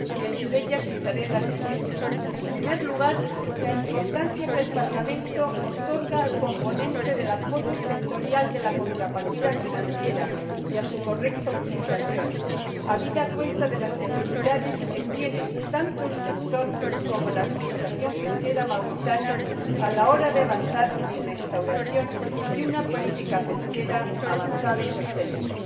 Y, entre ellas, citaré las siguientes En primer lugar, la importancia que el Parlamento otorga al componente del apoyo sectorial de la contrapartida financiera y a su correcta utilización, habida cuenta de las necesidades que tienen tanto el sector como la administración pesquera mauritana a la hora de avanzar en la instauración de una política pesquera avanzada y sostenible.